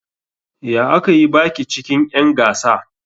Ya aka yi baki cikin'yan gasa?